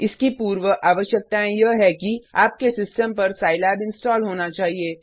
इसकी पूर्व आवश्यकतायें यह है कि आपके सिस्टम पर सिलाब इंस्टॉल होना चाहिए